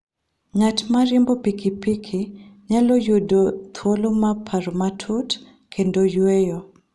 Ng'at ma riembo pikipiki nyalo yudo thuolo mar paro matut kendo yueyo.